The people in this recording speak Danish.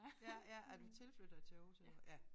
Ja ja er du tilflytter til Aarhus eller hvad